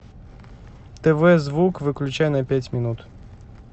тв звук выключай на пять минут